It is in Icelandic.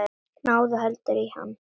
Náðu heldur í hann.